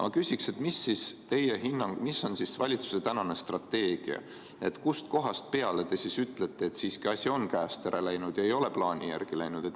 Aga mis on siis valitsuse tänane strateegia, kust kohast peale te ütlete, et asi on siiski käest ära läinud ega ole läinud plaani järgi?